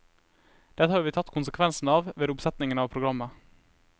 Dette har vi tatt konsekvensen av ved oppsettingen av programmet.